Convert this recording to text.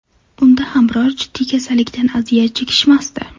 Unda ham biror jiddiy kasallikdan aziyat chekishmasdi.